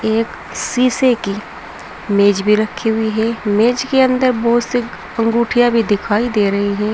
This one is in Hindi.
एक शीशे की मेज भी रखी हुई है मेज के अंदर बहुत से अंगूठियां भी दिखाई दे रही हैं।